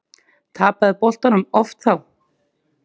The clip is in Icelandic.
Tapaði boltanum oft þá.